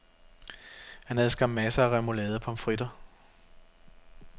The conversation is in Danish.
Han havde skam masser af remoulade og pommes fritter.